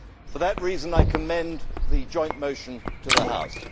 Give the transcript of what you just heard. For that reason, I commend the joint motion to the House.